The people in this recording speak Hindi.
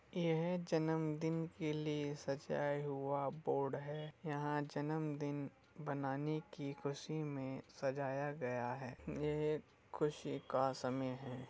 यह जन्मदिन के लिए सजाया हुआ बोर्ड है। यहाँ जन्मदिन बनाने की खुशी में सजाया गया है। यह खुशी का समय है।